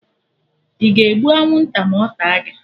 Ị ga-egbu anwụnta ma ọ taa gị?